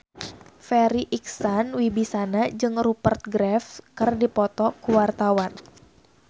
Farri Icksan Wibisana jeung Rupert Graves keur dipoto ku wartawan